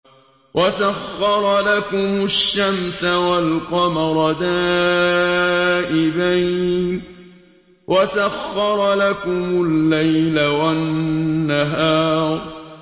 وَسَخَّرَ لَكُمُ الشَّمْسَ وَالْقَمَرَ دَائِبَيْنِ ۖ وَسَخَّرَ لَكُمُ اللَّيْلَ وَالنَّهَارَ